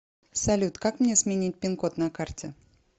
салют как мне сменить пин код на карте